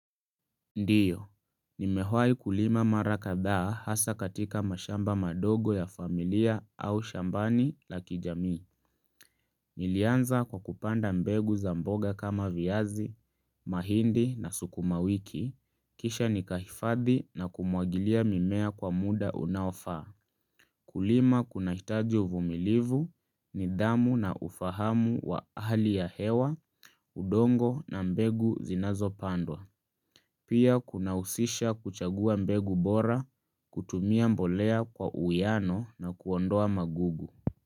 Ndiyo, nimewai kulima marakadhaa hasa katika mashamba madogo ya familia au shambani la kijami. Nilianza kwa kupanda mbegu za mboga kama viazi, mahindi na sukuma wiki, kisha nikahifadhi na kumwagilia mimea kwa muda unaofaa. Kulima kuna hitaji uvumilivu ni dhamu na ufahamu wa hali ya hewa, udongo na mbegu zinazo pandwa. Pia kunahusisha kuchagua mbegu bora, kutumia mbolea kwa uwiano na kuondoa magugu.